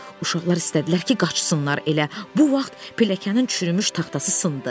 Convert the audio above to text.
Uşaqlar istədilər ki, qaçsınlar, elə bu vaxt pilləkənin çürümüş taxtası sındı.